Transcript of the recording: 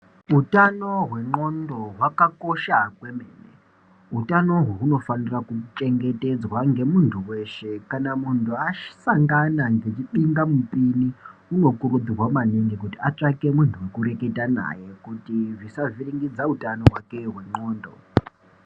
Utano hwendxondo hwakakosha kwemene .utano uhu hunofanira kuchengetedzwa ngemunhu wese kana asangana nechipingamupini unokurudzirwa kuti atsvake muntu wekureketa naye kuti zvisavhiringidza utano hwake hwendxondo.